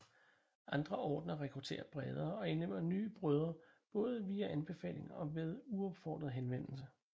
Andre ordener rekrutterer bredere og indlemmer nye brødre både via anbefaling og ved uopfordret henvendelse